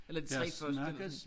Eller de 3 første